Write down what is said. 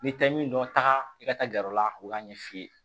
N'i tɛ min dɔn taga i ka taa gɛrɛ la u k'a ɲɛ f'i ye